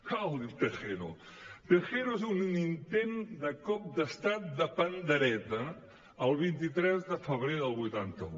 ah el tejero tejero és un intent de cop d’estat de pandereta el vint tres de febrer del vuitanta un